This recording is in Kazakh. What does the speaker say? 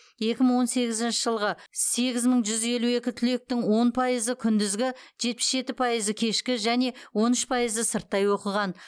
екі мың он сегізінші жылғы сегіз мың жүз елу екі түлектің он пайызы күндізгі жетпіс жеті пайызы кешкі және он үш пайызы сырттай оқыған